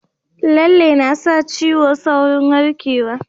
Lalle na sa ciwo saurin warkewa